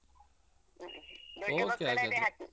ಹಾಗಾದ್ರೆ,